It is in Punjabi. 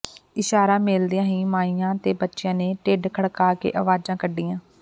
ਇਸ਼ਾਰਾ ਮਿਲਦਿਆਂ ਹੀ ਮਾਈਆਂ ਤੇ ਬੱਚਿਆਂ ਨੇ ਢਿੱਡ ਖੜਕਾ ਕੇ ਅਵਾਜ਼ਾਂ ਕੱਢੀਆਂ